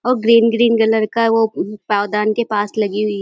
और green green colour का है वो पौदान के पास लगी हुई --